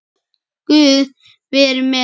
Guð veri með henni.